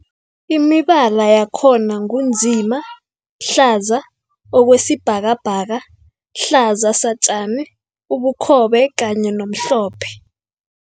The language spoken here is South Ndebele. Imibala yakhona ngu nzima, hlaza okwesibhakabhaka, hlaza satjani, ubukhobe kanye nomhlophe.